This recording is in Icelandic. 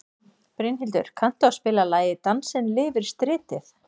Brynhildur, kanntu að spila lagið „Dansinn lifir stritið“?